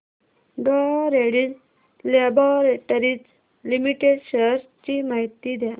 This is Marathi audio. डॉ रेड्डीज लॅबाॅरेटरीज लिमिटेड शेअर्स ची माहिती द्या